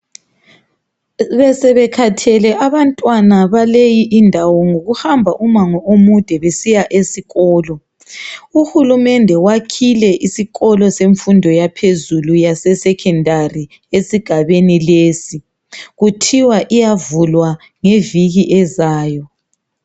Besebekhathele abantwana baleyi indawo ngokuhamba umango omude besiya esikolo uhulumende wakhile isikolo semfundo yaphezulu yase secondary esigabeni lesi kuthiwa iyavulwa ngeviki ezayo.